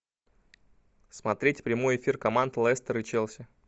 смотреть прямой эфир команд лестер и челси